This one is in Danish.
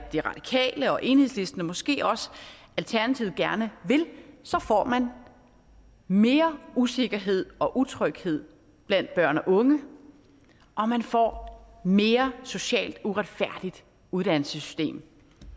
de radikale og enhedslisten og måske også alternativet gerne vil så får man mere usikkerhed og utryghed blandt børn og unge og man får mere socialt uretfærdigt uddannelsessystem